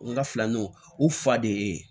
N ka filanan u fa de ye